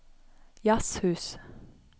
jazzhus